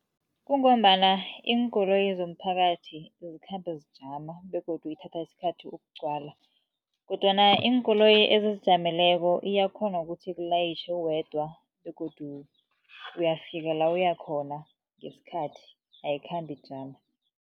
Kungombana iinkoloyi zomphakathi zikhambe zijama begodu ithatha isikhathi ukugcwala. Kodwana iinkoloyi ezizijameleko iyakghona ukuthi ikulayitjhe uwedwa begodu uyafika la uya khona ngesikhathi ayikhambi ijama.